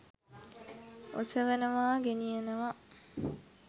ඔසවනවා ගෙනියනවා